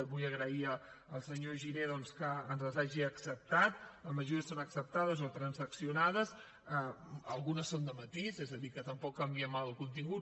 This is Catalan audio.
vull agrair al senyor giner doncs que ens les hagi acceptat la majoria són acceptades o transaccionades i algunes són de matís és a dir que tampoc en canviem el contingut